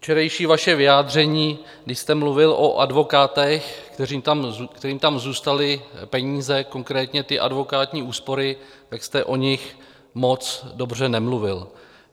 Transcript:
Včerejší vaše vyjádření, když jste mluvil o advokátech, kterým tam zůstaly peníze, konkrétní ty advokátní úschovy, tak jste o nich moc dobře nemluvil.